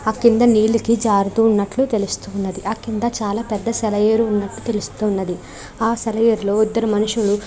ఆ కింద నీలికి జారుతూ ఉన్నట్లు తెలుస్తున్నది. ఆ కింద చాలా పెద్ద సెలయేరు ఉన్నట్టు తెలుస్తోంది. ఆ సెలయేరులో ఇద్దరు మనుషులు --